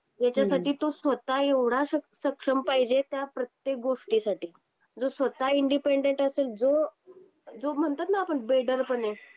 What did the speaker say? हम्म हम्म याच्या तो स्वतः एवढा सक्षम पाहिजे त्या प्रत्येकगोष्टी साठी जो स्वतः इंडिपेंडेंट असेल जो जो म्हणतो न आपण बेडरपणे.